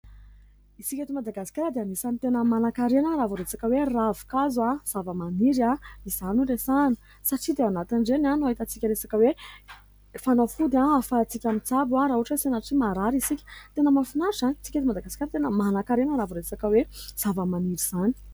Isika eto Madagasikara dia anisany tena manankarena raha vao resaka hoe ravinkazo zavamaniry izany no resahana ; satria dia ao anatin'ireny no ahitantsika resaka hoe fanafody ahafahantsika mitsabo raha ohatra hoe sanatria hoe marary isika. Tena mahafinaritra isika eto Madagasikara tena manankarena raha vao resaka hoe zavamaniry izany.